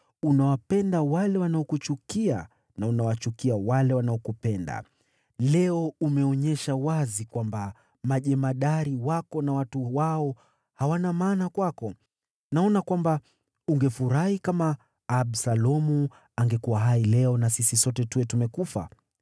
Unawapenda wale wanaokuchukia, na unawachukia wale wanaokupenda. Leo umeonyesha wazi kwamba majemadari wako na watu wao hawana maana kwako. Naona kwamba ungefurahi kama Absalomu angekuwa hai leo na sisi sote tuwe tumekufa.